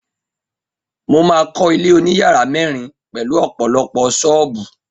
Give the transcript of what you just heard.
Mo máa kọ́ ilé oníyàrá mẹ́rin pelu ọ̀pọ̀lọpọ̀ ṣọ́ọ̀bù